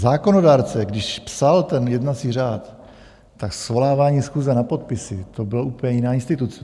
Zákonodárce, když psal ten jednací řád, tak svolávání schůze na podpisy, to byla úplně jiná instituce.